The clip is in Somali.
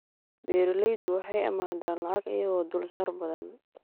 Beeraleydu waxay amaahdaan lacag iyagoo dulsaar badan.